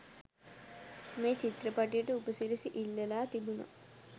මේ චිත්‍රපටියට උපසිරැසි ඉල්ලලා තිබුනා.